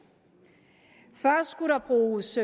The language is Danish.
først skulle der bruges